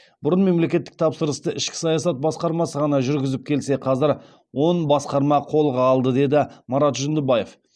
бұрын мемлекеттік тапсырысты ішкі саясат басқармасы ғана жүргізіп келсе қазір он басқарма қолға алды деді марат жүндібаев